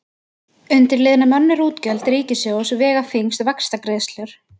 Undir liðnum önnur útgjöld ríkissjóðs vega þyngst vaxtagreiðslur.